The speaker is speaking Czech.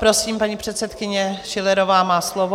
Prosím, paní předsedkyně Schillerová má slovo.